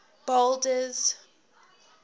boulders